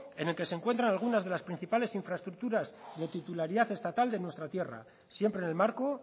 en el que se encuentra algunas de las principales infraestructuras de titularidad estatal de nuestra tierra siempre en el marco